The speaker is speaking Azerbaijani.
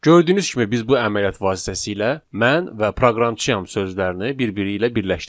Gördüyünüz kimi biz bu əməliyyat vasitəsilə mən və proqramçıyam sözlərini bir-biri ilə birləşdirdik.